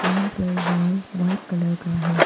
यहां पर wall white colour का है।